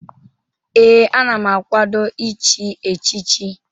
Ee, ana m akwado ichi echichi.